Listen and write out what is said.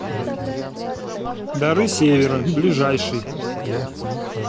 дары севера ближайший